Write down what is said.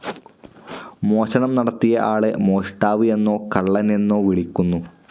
മോഷണം നടത്തിയ ആളെ മോഷ്ടാവ് എന്നോ കള്ളൻ എന്നോ വിളിക്കുന്നു.